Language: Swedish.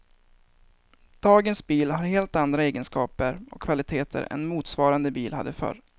Dagens bil har helt andra egenskaper och kvaliteter än motsvarande bil hade förr.